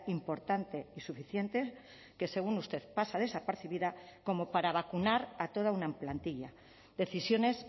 importante y suficiente que según usted pasa desapercibida como para vacunar a toda una plantilla decisiones